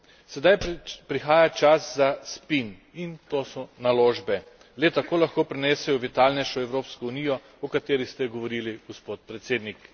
Sedaj prihaja čas za spin in to so naložbe le tako lahko prinesejo vitalnejšo Evropsko unijo, o kateri ste govorili, gospod predsednik.